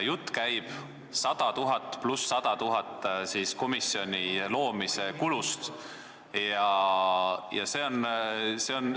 Jutt käib komisjonide loomise kulust 100 000 + 100 000.